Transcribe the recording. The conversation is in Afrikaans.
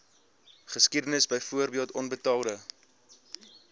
geskiedenis byvoorbeeld onbetaalde